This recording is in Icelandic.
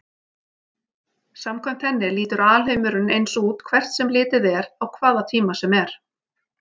Samkvæmt henni lítur alheimurinn eins út hvert sem litið er á hvaða tíma sem er.